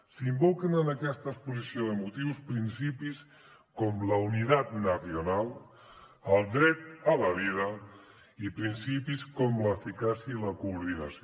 s’invoquen en aquesta exposició de motius principis com la unidad nacional el dret a la vida i principis com l’eficàcia i la coordinació